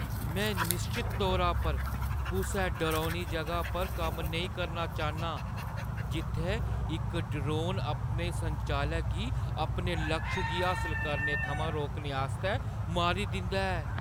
में निश्चत तौरा पर कुसै डरौनी जगह पर कम्म नेईं करना चाह्न्नां जित्थै इक ड्रोन अपने संचालक गी अपने लक्ष गी हासल करने थमां रोकने आस्तै मारी दिंदा ऐ।